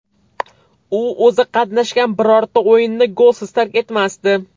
U o‘zi qatnashgan birorta o‘yinni golsiz tark etmasdi.